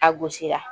A gosira